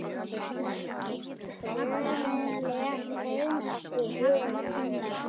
Tröðin létt heim eftir vöðin.